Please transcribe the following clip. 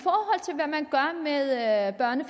ved at mange